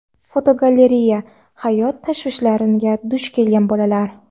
Fotogalereya: "Hayot tashvishlariga" duch kelgan bolalar.